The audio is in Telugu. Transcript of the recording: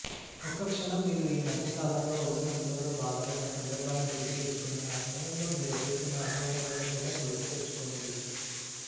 ఒక్కక్షణం మీరు ఈ మధ్యకాలంలో ఒళ్ళు నొప్పులతో బాధపడిన సందర్భాన్ని గుర్తుతెచ్చుకుని ఆ సమయంలో మీరెదుర్కున్న అసౌకర్యాన్ని కూడా గుర్తుతెచ్చుకోండి